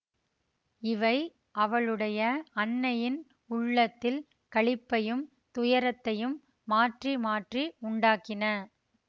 இவை அவளுடைய அன்னையின் உள்ளத்தில் களிப்பையும் துயரத்தையும் மாற்றி மாற்றி உண்டாக்கின